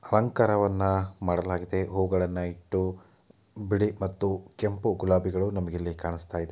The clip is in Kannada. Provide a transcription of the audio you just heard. ಅಲಂಕಾರ ವನ್ನ ಮಾಡಲಾಗಿದೆ ಹೂ ಗಳನ್ನು ಇಟ್ಟು ಬಿಳಿ ಮತ್ತು ಕೆಂಪು ಗುಲಾಬಿ ನಮಗಿಲ್ಲಿ--